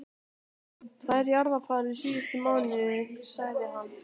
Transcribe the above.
Tvær jarðarfarir síðustu mánuði, sagði hann.